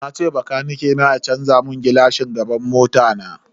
Nace bakanike na canza mun gilashin gaban mota na.